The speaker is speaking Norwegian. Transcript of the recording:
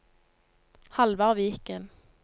Halvard Viken